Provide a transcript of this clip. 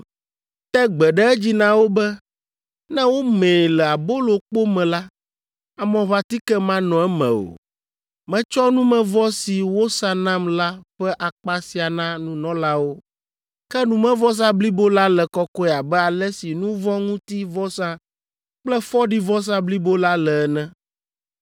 Te gbe ɖe edzi na wo be, ne womee le abolokpo me la, amɔʋãtike manɔ eme o. Metsɔ numevɔ si wosa nam la ƒe akpa sia na nunɔlawo. Ke numevɔsa blibo la le kɔkɔe abe ale si nu vɔ̃ ŋuti vɔsa kple fɔɖivɔsa blibo la le ene.